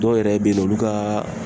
Dɔw yɛrɛ bɛ yen olu kaaa